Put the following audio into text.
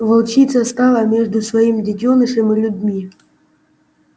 волчица стала между своим детёнышем и людьми